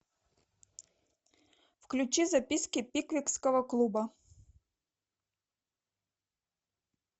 включи записки пиквикского клуба